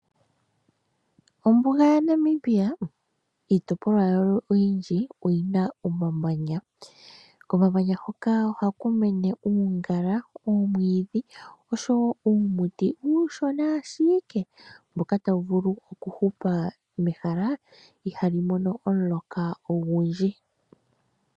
Ombuga yaNamibia iitopolwa yawo oyindji oyina omamanya. Komamanya hoka ohaku mene uungala, oomwiidhi osho wo uumuti uushona ashike mboka tawu vulu oku hupa mehala ihali mono omuloka ogundji.